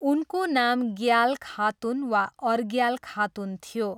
उनको नाम ग्याल खातुन वा अर्ग्याल खातुन थियो।